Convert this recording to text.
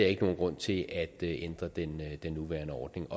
ikke nogen grund til at ændre den den nuværende ordning